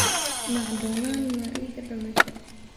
macdonald mariga dhalasho